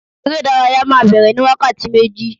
eré ìdárayá ma bere ni wakati meji